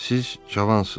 Siz cavansız.